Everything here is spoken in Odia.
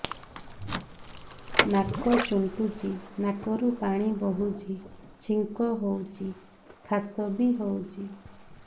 ନାକ ଚୁଣ୍ଟୁଚି ନାକରୁ ପାଣି ବହୁଛି ଛିଙ୍କ ହଉଚି ଖାସ ବି ହଉଚି